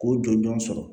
K'o jɔjɔn sɔrɔ